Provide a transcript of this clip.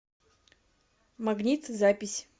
магнит запись